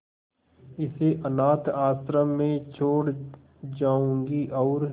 इसे अनाथ आश्रम में छोड़ जाऊंगी और